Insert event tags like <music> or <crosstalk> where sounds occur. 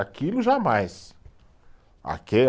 Aquilo jamais. <unintelligible>